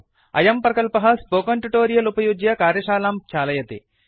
अयं प्रकल्पः ट्युटोरियल उपयुज्य कार्यशालां चालयति